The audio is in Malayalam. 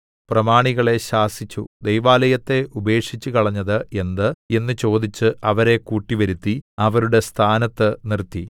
പ്രമാണികളെ ശാസിച്ചു ദൈവാലയത്തെ ഉപേക്ഷിച്ചുകളഞ്ഞത് എന്ത് എന്ന് ചോദിച്ച് അവരെ കൂട്ടിവരുത്തി അവരുടെ സ്ഥാനത്ത് നിർത്തി